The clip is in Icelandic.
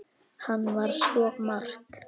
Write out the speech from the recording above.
Hann var svo margt.